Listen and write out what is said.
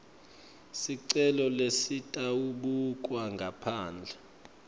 sicelo lesitawubukwa ngaphandle